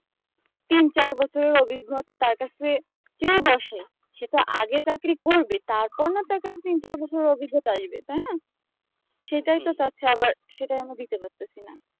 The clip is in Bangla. তিন চার বছরের অভিগ্নতা তার কাছে চেয়ে বসে সেটা আগে চাকরি করবে তারপর না তার কাছে অভিজ্ঞতা আসবে তাই না সেটাই তো সেটাই আমরা দিতে পারছিনা